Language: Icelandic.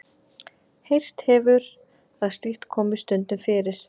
Heyrst hefur að slíkt komi stundum fyrir.